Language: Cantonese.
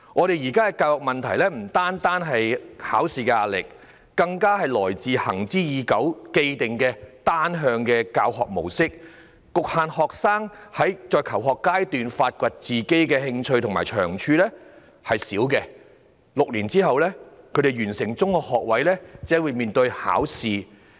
現在的教育問題不僅來自考試壓力，更加來自行之已久的單向教學模式，阻礙了學生在求學階段發掘自己的興趣和長處，以致他們完成6年的中學學位課程只懂應對考試。